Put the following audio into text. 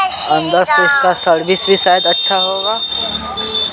अंदर से इसका सर्विस भी शायद अच्छा होगा।